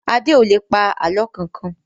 Adé ò lè pa àlọ́ kankan